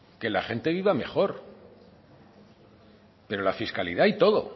que la gente iba mejor pero la fiscalidad y todo